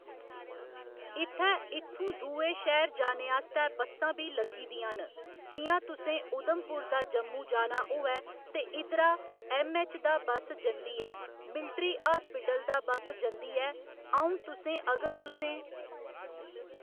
इत्थै इत्थूं दूए शैह्‌र जाने आस्तै बस्सां बी लग्गी दियां न जि'यां तुसें उधमपुर दा जम्मू जाना होऐ ते इद्धरा ऐम्मऐच्च दा बस जंदी ऐ मिलट्री हास्पिटल दा बस जंदी ऐ अ'ऊं तुसें अगर तुसें